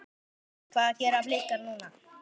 Hvað gera Blikar núna?